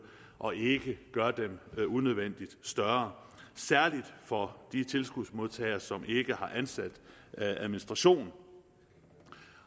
og ikke gør dem unødvendigt større særlig for de tilskudsmodtagere som ikke har ansat administration